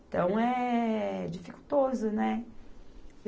Então, é dificultoso, né?